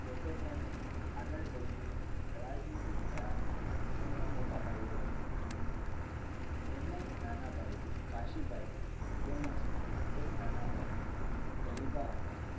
પોતે પણ આગળ જઈને રાજનિતિક થયા. તેમના મોટા ભાઈઓ હતા. તેમના એક નાના ભાઈ કાશીભાઈ તેમજ એક નાના બહેન ડહીબા હતા